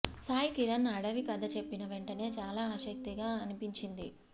సాయి కిరణ్ అడవి కథ చెప్పిన వెంటనే చాలా ఆసక్తిగా అనిపించింది